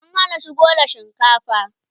an Hana shigo da shinkafa